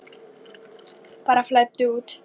Bara flæddu út.